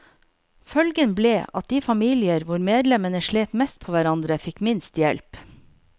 Følgen ble at de familier hvor medlemmene slet mest på hverandre, fikk minst hjelp.